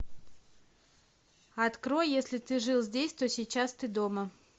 открой если ты жил здесь то сейчас ты дома